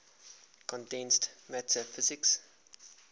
condensed matter physics